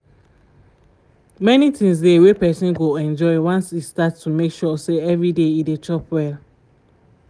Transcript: many things dey wey person go enjoy once e start to make sure say every day e dey chop well